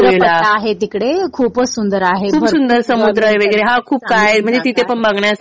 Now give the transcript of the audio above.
हो हो. समुद्रपट्टा आहे तिकडे. खूपच सुंदर आहे.